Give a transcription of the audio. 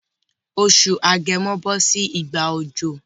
Oṣù agẹmo bọ́ sí ìgbà òjò